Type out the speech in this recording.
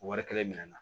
Wari kelen minɛ na